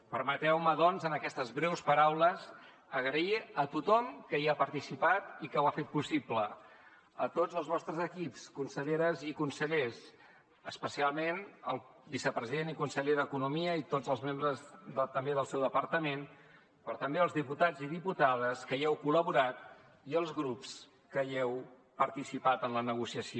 permeteu me doncs amb aquestes breus paraules agrair a tothom que hi ha participat i que ho ha fet possible a tots els vostres equips conselleres i consellers especialment el vicepresident i conseller d’economia i tots els membres també del seu departament però també als diputats i diputades que hi heu col·laborat i als grups que heu participat en la negociació